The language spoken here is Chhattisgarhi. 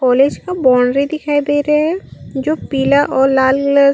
कॉलेज का बाउंड्री दिखाई दे रहे है जो पीला और लाल लेयर --